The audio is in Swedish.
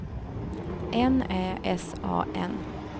N Ä S A N